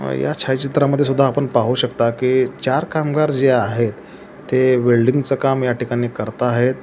अ या छाया चित्रामध्ये सुद्धा आपण पाहू शकता की चार कामगार जे आहे ते वेल्डिंग च काम या ठिकाणी करता आहेत.